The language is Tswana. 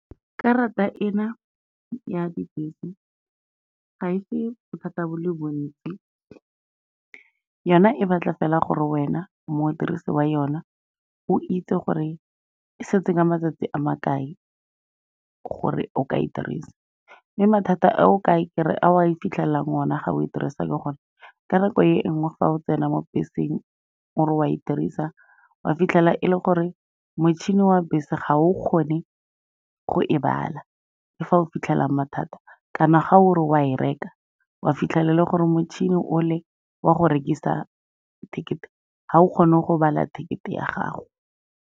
Karata ena ya dibese, ga e fe bothata bo le bontsi, yona e batla fela gore wena modirisi wa yona, o itse gore e setse a matsatsi a makae gore o ka e dirisa. Mme mathata ao a e fitlhelelang ona ga o e dirisa ke gore, ka nako e nngwe fa o tsena mo beseng o re wa e dirisa, wa fitlhela e le gore motšhini wa bese ga o kgone go e bala, ke fa o fitlhelang mathata, kana ga ore wa e reka, wa fitlhelele gore motšhini o le wa go rekisa ticket-e ga o kgone go bala ticket-e ya gago.